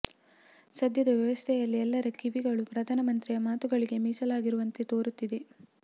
ಸದ್ಯದ ವ್ಯವಸ್ಥೆಯಲ್ಲಿ ಎಲ್ಲರ ಕಿವಿಗಳು ಪ್ರಧಾನ ಮಂತ್ರಿಯ ಮಾತುಗಳಿಗೆ ಮೀಸಲಾಗಿರುವಂತೆ ತೋರುತ್ತಿದೆ